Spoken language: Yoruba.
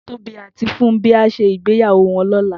Tobi àtí Fumbi á ṣé igbéyàwó wòn lòlá